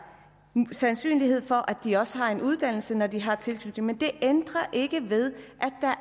sandsynlighed for at de også har en uddannelse når de har tilknytning men det ændrer ikke ved